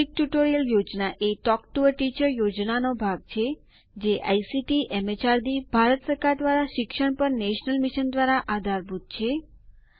મૌખિક ટ્યુટોરિયલ યોજના talk to a teacher યોજનાનો એક ભાગ છે જે આઇસીટી એમએચઆરડી ભારત સરકાર દ્વારા શિક્ષણ પર નેશનલ મિશન દ્વારા આધારભૂત છે